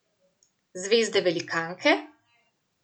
Zvezde velikanke?